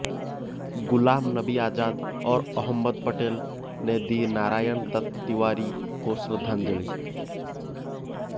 गुलाम नबी आजाद और अहमद पटेल ने दी नारायण दत्त तिवारी को श्रद्धांजलि